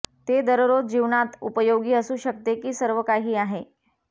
ते दररोज जीवनात उपयोगी असू शकते की सर्वकाही आहे